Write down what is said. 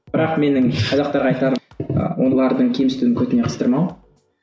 бірақ менің қазақтарға айтарым ы олардың кемсітуін көтіне қыстырмау